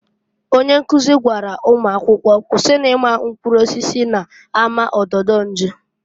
Onye nkuzi gwara ụmụakwọ, "Kwusinu ịma mkprụrụ osisi na-ama ododo nju!"